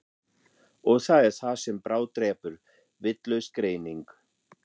Og það er það sem bráðdrepur, vitlaus greining.